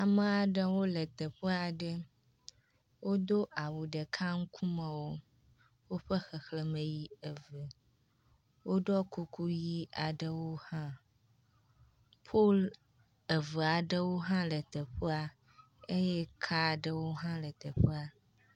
Amea ɖewo le teƒe aɖe. wodo awu ɖeka ŋkumewo. Woƒe xexlẽme yi eve, woɖɔ kuku ʋɛ̃ aɖewo hã, pol eve aɖewo hã le teƒea eye ka aɖewo hã le teƒea.